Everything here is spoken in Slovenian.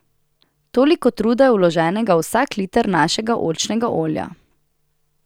Toliko truda je vloženega v vsak liter našega oljčnega olja.